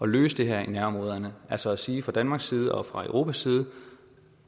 løse det her i nærområderne altså at sige fra danmarks side og fra europas side